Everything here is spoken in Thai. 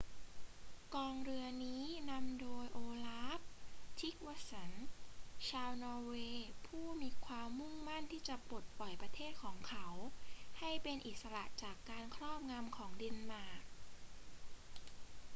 กองเรือนี้นำโดยโอลาฟ ทริกวัสสัน ชาวนอร์เวย์ผู้มีความุ่งมั่นที่จะปลดปล่อยประเทศของเขาให้เป็นอิสระจากการครอบงำของเดนมาร์ก